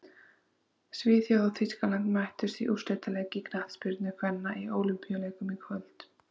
Svíþjóð og Þýskaland mættust í úrslitaleik í knattspyrnu kvenna á Ólympíuleikunum í kvöld.